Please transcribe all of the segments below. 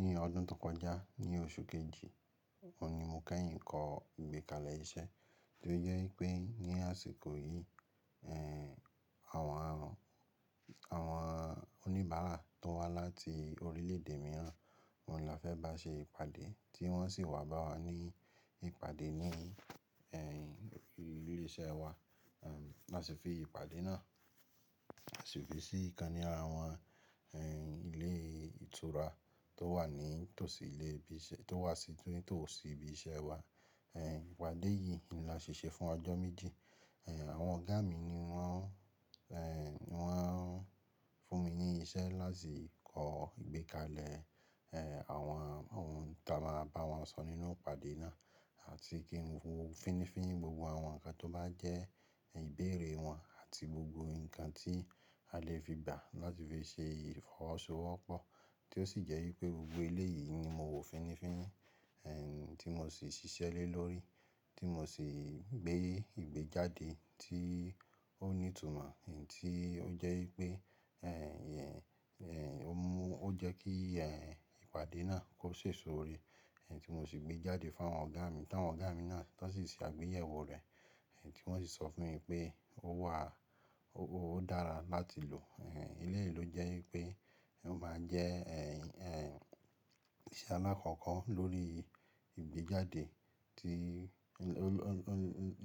Ní ọdún tó kọjá, ní oṣù kejì, òní mo kẹ́yìn kọ ìgbékalẹ̀ iṣẹ́ tó jẹ́ wípé ní àsìkò yìí, ẹ́, àwọn alùn-- àwọn oníbàárà tó wá láti orílẹ̀-èdè mìíràn ni a fẹ́ bá ṣe ìpàdé, tí wọ́n sì wá bá wa ní ìpàdé ní, ẹ́, ilé iṣẹ́ wa. Ehn, lási fi ìpàdé náà ṣibí sí ìkànnì ara wọn, ẹ́, ilé ìtura tó wà ní tòsí ilé ibi iṣẹ́-- tó wà sí tòsí ibi iṣẹ́ wa. Ẹ́, ìpàdé yìí ni a ṣi ṣe fún ọjọ́ méjì. Ehn, àwọn ọ̀gá mi ni wọ́n, ẹ́, wọ́n fún mi ní iṣẹ́ láti kọ ìgbékalẹ̀, ẹ́, àwọn ohun tí a máa bá wọn sọ nínú ìpàdé náà àti kí n wo fínnífínní gbogbo àwọn nǹkan tó bá jẹ́ ìbéèrè wọn àti gbogbo nǹkan tí a lè fi gbà láti fi ṣe ìfọwọ́sowọ́pọ̀. Tí ó sì jẹ́ wípé gbogbo eléyì ni mo wo fínnífínní, ẹ́, tí mo sì ṣiṣẹ́ lé lórí, tí mo sì gbé ìgbéjáde tí ó ní ìtumọ̀ tí ó jẹ́ wípé, ẹ́, ó mú ó jẹ́ kí, ẹ́, ìpàdé náà kó ṣe sóore, ẹ́, tí mo sì gbé jáde fún àwọn ọ̀gá mi tí àwọn ọ̀gá mi náà tó sì ṣe àgbéyẹ̀wò rẹ̀, ẹ́, tí wọ́n sì sọ fún mi pé ó wà, ó dára láti lò. Ehn, eléyì ló jẹ́ wípé ó máa jẹ́, ẹ́, iṣẹ́ àlakọ́kọ́ lórí ìgbéjáde tí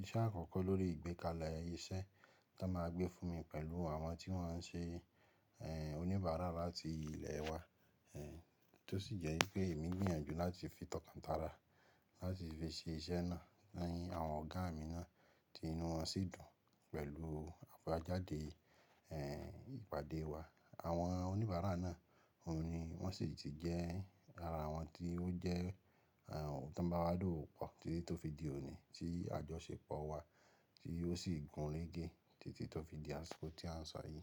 iṣẹ́ àkọ́kọ́ lórí ìgbékalẹ̀ iṣẹ́ tí wọ́n máa gbé fún mi pẹ̀lú àwọn tí wọ́n ṣe, ẹ́, oníbàárà láti ilẹ̀ wa. Ehn, tó sì jẹ́ wípé èmi gbìyànjú láti fi tọkantara láti fi ṣe iṣẹ́ náà ní àwọn ọ̀gá mi náà tí inú wọn sì dùn pẹ̀lú àbajáde, ẹ́, ìpàdé wa. Àwọn oníbàárà náà, òun ni wọ́n sì ti jẹ́ ara awọn tí ó jẹ́, ẹ́, ohun tí wọ́n bá wá dòwo pọ̀ títí tó fi di òní tí àjọṣepọ̀ wa tí ó sì gún régé títí tó fi di àsìkò tí à ń sọ yìí.